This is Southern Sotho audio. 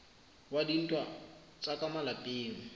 wa dintwa tsa ka malapeng